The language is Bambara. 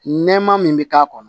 Nɛɛma min bi k'a kɔnɔ